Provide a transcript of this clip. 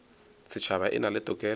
setšhaba e na le tokelo